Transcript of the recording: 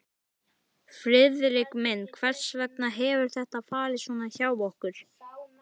Friðrik minn, hvers vegna hefur þetta farið svona hjá okkur?